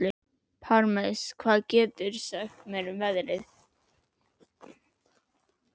Parmes, hvað geturðu sagt mér um veðrið?